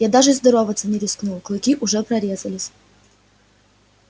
я даже здороваться не рискнул клыки уже прорезались